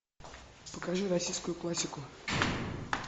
покажи российскую классику